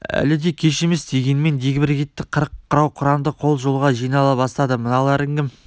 әлі де кеш емес дегенмен дегбір кетті қырық құрау құранды қол жолға жинала бастады мыналарың кім